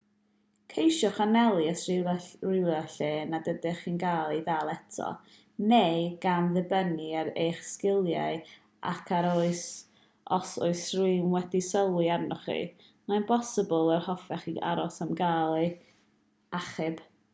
ceisiwch anelu at rywle lle nad ydych chi'n cael eich dal eto neu gan ddibynnu ar eich sgiliau ac ar os oes rhywun wedi sylwi arnoch chi mae'n bosibl yr hoffech chi aros am gael eich achub